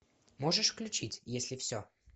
можешь включить если все